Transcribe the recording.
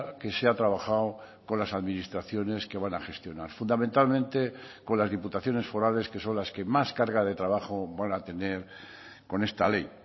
que se ha trabajado con las administraciones que van a gestionar fundamentalmente con las diputaciones forales que son las que más carga de trabajo van a tener con esta ley